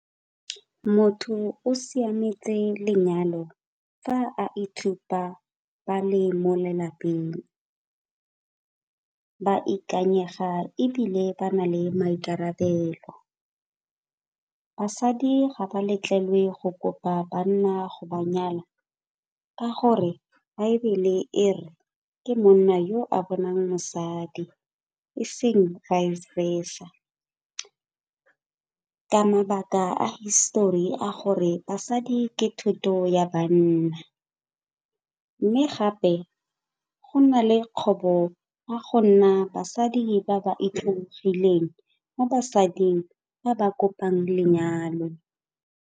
Motho o siametse lenyalo fa a itshupa ba le mo lelapeng, ba ikanyega ebile ba na le maikarabelo. Basadi ga ba letlelwe go kopa banna go ba nyala ka gore baebile e re ke monna yo a bonang mosadi e seng vice versa. Ka mabaka a hisitori a gore basadi ke thoto ya banna mme gape go na le kgobo ka go nna basadi ba ba itlhobogileng mo basading ba ba kopang lenyalo.